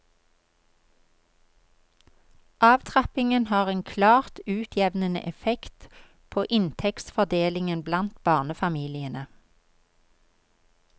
Avtrappingen har en klart utjevnende effekt på inntektsfordelingen blant barnefamiliene.